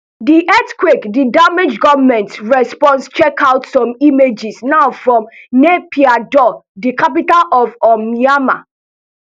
di earthquake di damage goment response checkout some images now from naypyidaw di capital of um myanmar